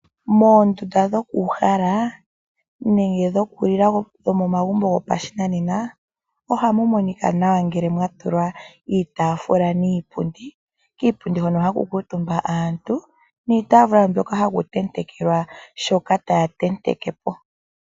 Moondunda dhoku uhala nenge dhoku lila dhomomagumbo gopashinanena ohamu monika nawa ngele mwa tulwa iitaafula niipundi, kiipundi hono haku kuutumba aantu niitaafula hoka haku tentekelwa shoka taya tenteke po.